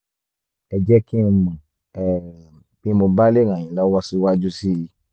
ẹ jẹ́ kí n mọ̀ um bí mo bá lè ràn yín lọ́wọ́ síwájú sí i